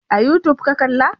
A youtube ka kalla?